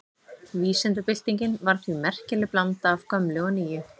Vísindabyltingin var því merkileg blanda af gömlu og nýju.